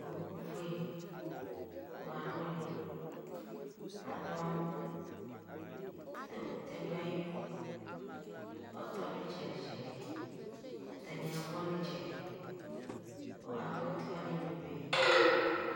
Owʋ fue, owʋ yɛ anʋli Alʋ amɔ Ɛkʋtɛ dʋ ayidʋ Ɔtɔ dʋ ayitsɛdi itsɛdi Ɛkʋtɛ ni agbɔ ni tsɛdi Owʋ yɛ ayʋ afɔti wani ebebe